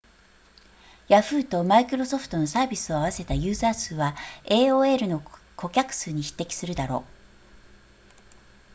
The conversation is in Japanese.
ヤフーとマイクロソフトのサービスを合わせたユーザー数は aol の顧客数に匹敵するだろう